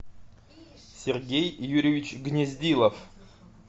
сергей юрьевич гнездилов